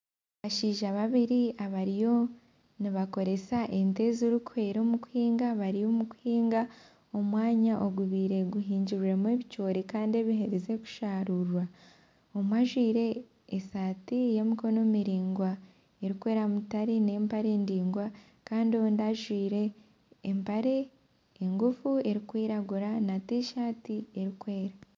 Abashaija babiri abariyo nibakoresa ente ezirikuhweera omu kuhinga bari omu kuhinga omwanya ogubaire guhingirwemu ebicoori Kandi ebiherize kusharurwa omwe ajwaire esaati y'emikono miraingwa ,erikweera mutare n'empare ndaingwa Kandi ondi ajwaire empare ngufu erikwiragura na t-shirt erikweera.